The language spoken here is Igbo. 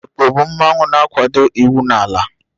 Ekpo bụ udi mmanwu na-akwado iwu n'ala.